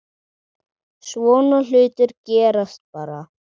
Svona hlutir gerast bara.